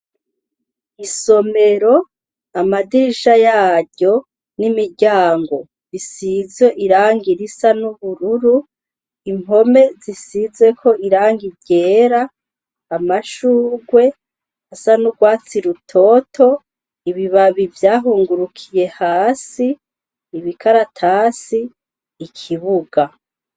Isomero, amadirisha yaryo, n'imiryango, bisize irangi risa n'ubururu, impome zisizeko irangi ryera, amashurwe asa n'urwatsi rutoto, ibibabi vyahungurukiye hasi, ibikaratasi, ikibuga.